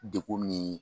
Dekun ni